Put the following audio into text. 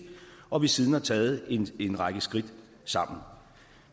og vi har siden taget en række skridt sammen